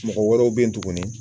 Mɔgɔ wɔrɔw be yen tuguni